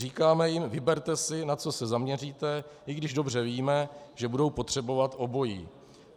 Říkáme jim: vyberte si, na co se zaměříte - i když dobře víme, že budou potřebovat obojí.